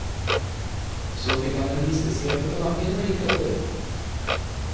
Så fikk han en nisteskreppe på nakken og gikk av gårde.